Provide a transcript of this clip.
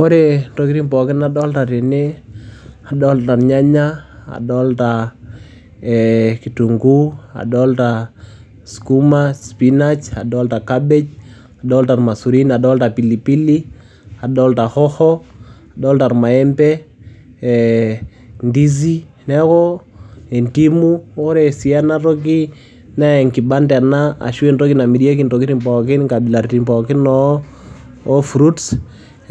Ore intokitin pookin nadolta tene nadolta irnyanya, nadolta ee kitung'uu, adolta skuma, spinach, adolta cabbage, adolta irmaisurin, adolta pilipili, adolta hoho, adolta ormaembe, ee ndizi, neeku endimu. Ore sii ena toki nee enkibanda ena ashu entoki namirieki intokitin pookin inkabilaritin poookin oo oo fruits.